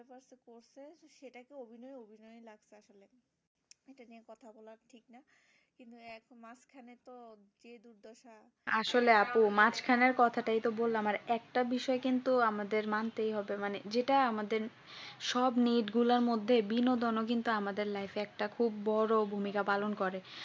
আসলে আপু মাঝখানের কথাটা তো বললাম আর একটা বিষয় কিন্তু আমাদের মানতেই হবে মানে যেটা আমাদের সব need গুলার মধ্যে বিনোদন আমাদের life এ একটা খুব বড় ভূমিকা পালন করে